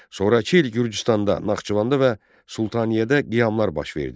Sonrakı il Gürcüstanda, Naxçıvanda və Sultaniyədə qiyamlar baş verdi.